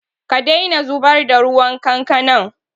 Ka daina zubar da ruwan kankanan!